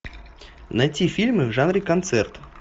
найти фильмы в жанре концерт